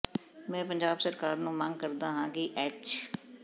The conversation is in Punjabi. ਮੈ ਪੰਜਾਬ ਸਰਕਾਰ ਤੋ ਮੰਗ ਕਰਦਾ ਹਾ ਕਿ ਐਚ